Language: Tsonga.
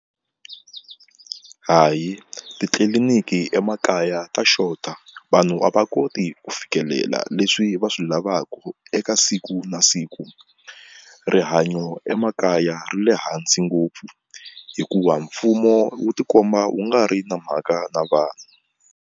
Hayi titliliniki emakaya ta xota vanhu a va koti ku fikelela leswi va swi lavaku eka siku na siku rihanyo emakaya ri le hansi ngopfu hikuva mfumo wu tikomba wu nga ri na mhaka na vanhu.